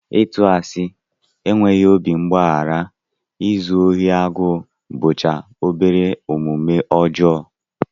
Ịtụ asị, enweghị obi mgbaghara, izu ohi agụụ bụcha obere omume ọjọọ